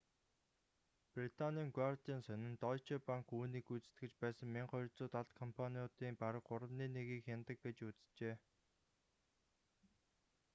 британийн гуардиан сонин дойче банк үүнийг гүйцэтгэж байсан 1200 далд компаниудын бараг гуравны нэгийг хянадаг гэж үзжээ